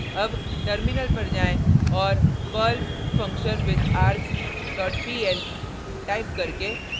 अब टर्मिनल पर जाएँ और perl functionwithargs dot pl type करके